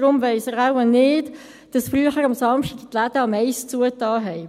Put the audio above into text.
Deshalb weiss er wahrscheinlich nicht, dass die Läden früher an Samstagen um 13.00 Uhr schlossen.